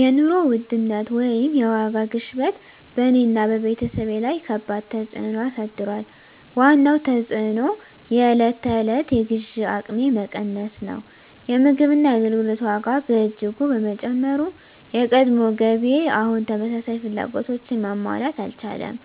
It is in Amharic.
የኑሮ ውድነት (የዋጋ ግሽበት) በእኔና በቤተሰቤ ላይ ከባድ ተፅዕኖ አሳድሯል። ዋነኛው ተፅዕኖ የዕለት ተዕለት የግዢ አቅሜ መቀነስ ነው። የምግብና የአገልግሎት ዋጋ በእጅጉ በመጨመሩ፣ የቀድሞ ገቢዬ አሁን ተመሳሳይ ፍላጎቶችን ማሟላት አልቻለም።